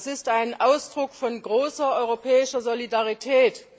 Das ist ein Ausdruck von großer europäischer Solidarität.